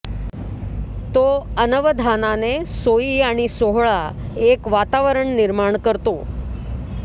तो अनवधानाने सोई आणि सोहळा एक वातावरण निर्माण करतो